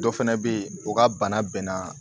Dɔ fɛnɛ be yen o ka bana bɛnna